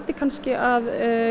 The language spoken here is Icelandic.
kannski að